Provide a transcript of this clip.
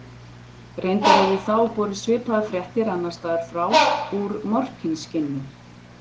Reyndar höfðu þá borist svipaðar fréttir annars staðar frá, úr Morkinskinnu.